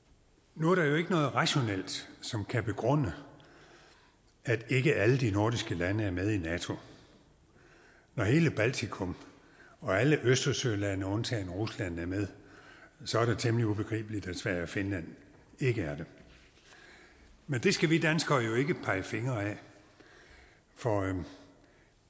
nu er der jo ikke noget rationelt som kan begrunde at ikke alle de nordiske lande er med i nato når hele baltikum og alle østersølande undtagen rusland er med så er det temmelig ubegribeligt at sverige og finland ikke er det men det skal vi danskere jo ikke pege fingre af for